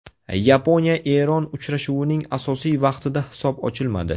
Yaponiya Eron uchrashuvining asosiy vaqtida hisob ochilmadi.